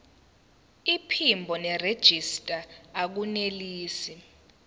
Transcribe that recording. iphimbo nerejista akunelisi